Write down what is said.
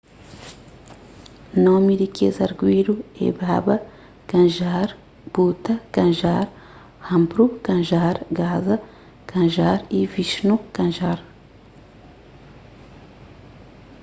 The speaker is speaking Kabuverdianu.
nomi di kes arguídu é baba kanjar bhutha kanjar rampro kanjar gaza kanjar y vishnu kanjar